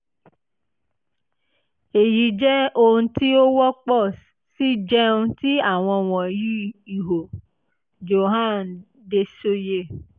eyi jẹ ohun ti o wọpọ si jẹun ti awọn wọnyi iho? joan dessoye